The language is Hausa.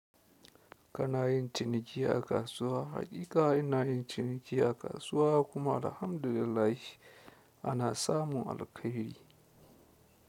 Kana yin ciniki a kasuwa, haƙiƙa ina yin ciniki a kasuwa kuma alhamdu lillahi ana samu alkairi.